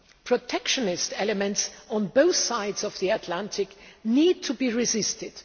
Protectionist elements on both sides of the Atlantic need to be resisted.